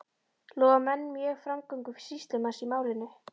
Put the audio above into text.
Lofuðu menn mjög framgöngu sýslumanns í málinu.